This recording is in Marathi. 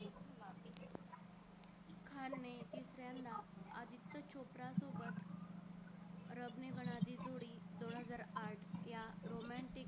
दोनहजार आठ या romantic